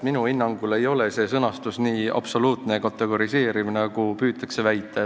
Minu hinnangul ei ole see sõnastus nii absoluutne ja kategoriseeriv, nagu püütakse väita.